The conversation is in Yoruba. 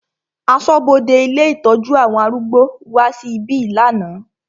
Aṣọ́bodè ilé ìtọ́jú àwọn arúgbó wá sí ibí lánàá.